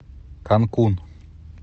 канкун